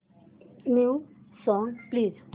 new songs please